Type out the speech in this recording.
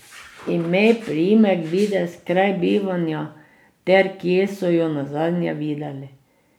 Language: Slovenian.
Ime, priimek, videz, kraj bivanja ter kje so jo nazadnje videli.